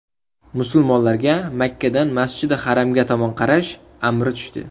Musulmonlarga Makkadan Masjidi Haramga tomon qarash amri tushdi.